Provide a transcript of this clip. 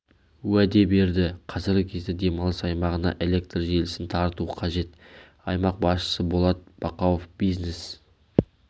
уәде берді қазіргі кезде демалыс аймағына электр желісін тарту қажет аймақ басшысы болат бақауов бизнес